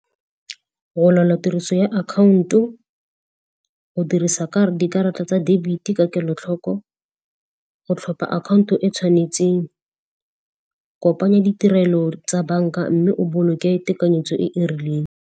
Tiriso ya akhaonto, go dirisa dikarata tsa debit ka kelotlhoko, go tlhopha akhaonto e e tshwanetseng, kopanya ditirelo tsa banka mme o boloke tekanyetso e e rileng.